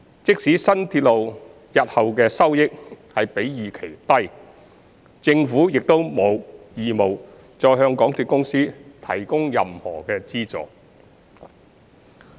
即使新鐵路日後的收益比預期低，政府亦沒有義務再向港鐵公司提供任何資助。